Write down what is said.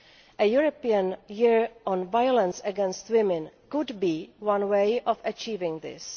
A European Year on violence against women could be one way of achieving this.